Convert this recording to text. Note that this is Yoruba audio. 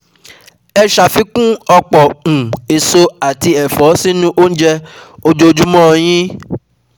Ẹ ṣàfikún ọ̀pọ̀ um èso àti ẹ̀fọ́ sínú oúnjẹ́ ojoojúmọ́ ọ yín